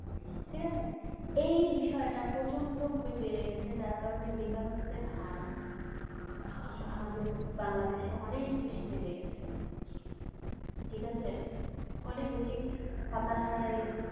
এই বিষয় টা প্রচন্ড ভাবে বেড়ে গেছে যার কারনে বেকারত্বের হার উম আমাদের বাংলাদেশে অনেক বেশি বেড়ে গেছে ঠিকাছে অনেক বেশি হতাশায়